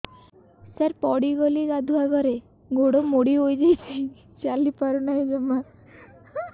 ସାର ପଡ଼ିଗଲି ଗାଧୁଆଘରେ ଗୋଡ ମୋଡି ହେଇଯାଇଛି ଚାଲିପାରୁ ନାହିଁ ଜମା